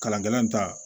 Kalan kɛlɛn ta